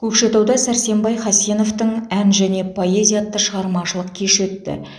көкшетауда сәрсенбай хасеновтың ән және поэзия атты шығармашылық кеші өтті